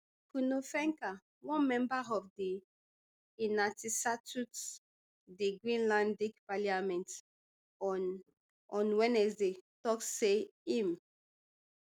kuno fencker one member of di di greenlandic parliament on on wednesday tok say im